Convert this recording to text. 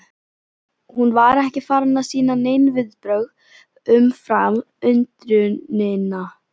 Hún var ekki farin að sýna nein viðbrögð umfram undrunina.